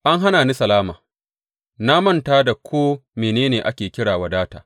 An hana ni salama; na manta da ko mene ne ake kira wadata.